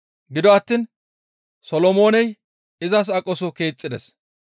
Gido attiin Solomooney izas aqoso keexxides.